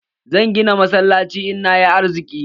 Zan gina masallaci in nayi arziki.